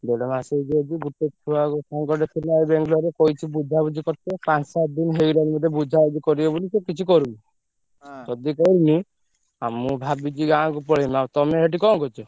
ଦେଢ ମାସ ହେଇଯିବ ଯଦି ଗୋଟେ ଛୁଆକୁ ସାଙ୍ଗଟେ ଥିଲା ଏଇ ବାଙ୍ଗଲୋରରେ କହିଛି ବୁଝାବୁଝି କରିବ ପାଞ୍ଚ ସାତ ଦିନି ହେଇଗଲାଣି ବୋଧେ ବୁଝାବୁଝି କରିବ ବୋଲି ସେ କିଛି କରୁନି। ଯଦି କରୁନି ଆଉ ମୁଁ ଭାବିଛି ଗାଁକୁ ପଳେଇବି। ଆଉ ତମେ ସେଠି କଣ କରୁଚ?